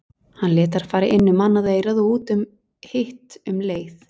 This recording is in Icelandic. Hann lét þær fara inn um annað eyrað og út um hitt um leið.